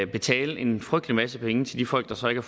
betale en frygtelig masse penge til de folk der så ikke